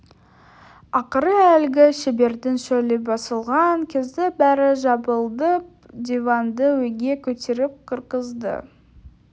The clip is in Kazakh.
ақыры әлгі шебердің шөлі басылған кезде бәрі жабылып диванды үйге көтеріп кіргізді